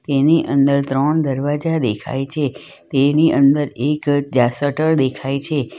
તેની અંદર ત્રણ દરવાજા દેખાય છે તેની અંદર એક ત્યાં શટર દેખાય છે.